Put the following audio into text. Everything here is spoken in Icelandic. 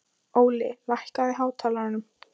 Óli, lækkaðu í hátalaranum.